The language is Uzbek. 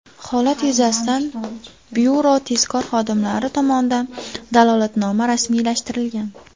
Holat yuzasidan byuro tezkor xodimlari tomonidan dalolatnoma rasmiylashtirilgan.